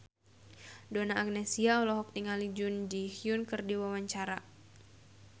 Donna Agnesia olohok ningali Jun Ji Hyun keur diwawancara